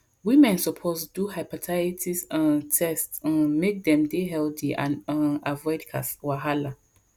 women suppose do hepatitis um test um make dem dey healthy and um avoid wahala